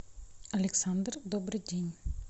александр добрый день